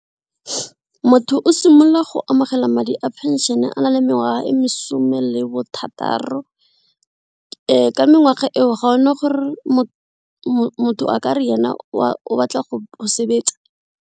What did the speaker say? Motho o simolola go amogela madi a pension a na le mengwaga e mesome le bothataro ka mengwaga eo ga gona gore motho a ka re ene o batla go sebetsa.